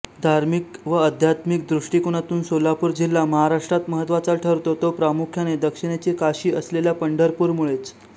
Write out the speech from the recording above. धार्मिक व आध्यात्मिक दृष्टिकोनातून सोलापूर जिल्हा महाराष्ट्रात महत्त्वाचा ठरतो तो प्रामुख्याने दक्षिणेची काशी असलेल्या पंढरपूरमुळेच